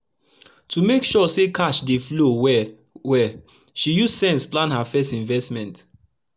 to make sure say cash dey flow well well she use sense plan her fess investment